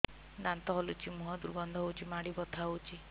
ଦାନ୍ତ ହଲୁଛି ମୁହଁ ଦୁର୍ଗନ୍ଧ ହଉଚି ମାଢି ବଥା ହଉଚି